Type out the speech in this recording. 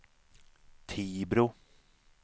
Tibro